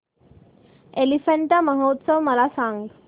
एलिफंटा महोत्सव मला सांग